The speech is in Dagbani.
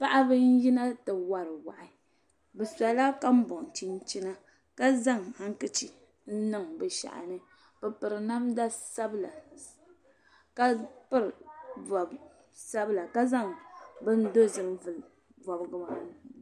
Paɣiba n yina ti wari wahi bi sola ka bɔn chinchina ka zaŋ hankachif n. niŋ bi shahini bipiri namda sabila ka pili bɔb sabila zaŋ bin dozim. n vuli bɔbgimaa.